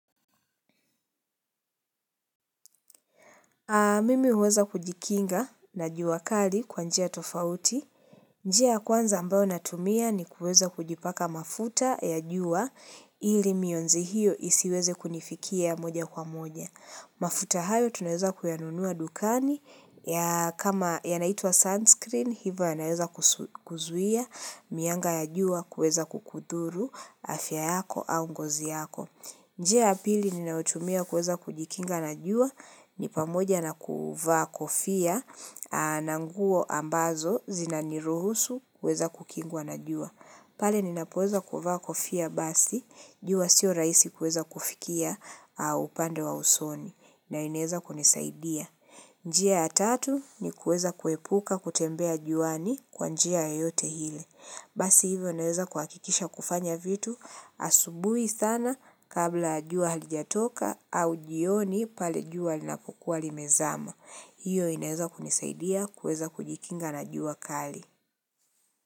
Mimi huweza kujikinga na jua kali kwa njia tofauti. Njia ya kwanza ambayo natumia ni kuweza kujipaka mafuta ya jua ili mionzi hiyo isiweze kunifikia moja kwa moja. Mafuta hayo tunaweza kuyanunua dukani ya kama yanaitwa sunscreen hivo yanaweza kuzuia mianga ya jua kueza kukudhuru afya yako au ngozi yako. Njia ya pili ninayotumia kuweza kujikinga na jua ni pamoja na kuvaa kofia na nguo ambazo zinaniruhusu kuweza kukingwa na jua. Pale ninapoweza kuvaa kofia basi jua sio raisi kuweza kufikia upande wa usoni na inaeza kunisaidia. Njia ya tatu ni kuweza kuepuka kutembea juani kwa njia yoyote ile. Basi hivyo naweza kuhakikisha kufanya vitu asubui sana kabla ya jua halijatoka au jioni pale jua linapokua limezama. Hiyo inaweza kunisaidia kuweza kujikinga na jua kali.